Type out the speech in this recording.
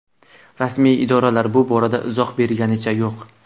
Rasmiy idoralar bu borada izoh berganicha yo‘q.